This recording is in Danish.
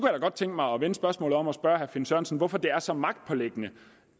godt tænke mig at vende spørgsmålet om og spørge herre finn sørensen hvorfor det er så magtpåliggende